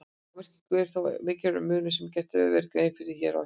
Á merkingunni er þó mikilvægur munur sem gert verður grein fyrir hér á eftir.